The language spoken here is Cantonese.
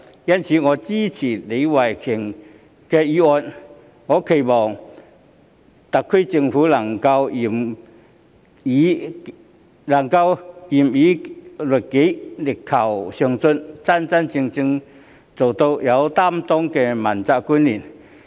因此，我支持李慧琼議員的議案，並期望特區政府官員能夠嚴以律己、力求上進，真正成為有擔當的問責官員。